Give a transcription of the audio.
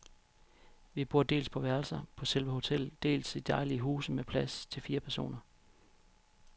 Vi bor dels på værelser på selve hotellet, dels i dejlige huse med plads til fire personer.